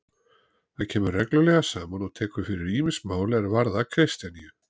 Það kemur reglulega saman og tekur fyrir ýmis mál er varðar Kristjaníu.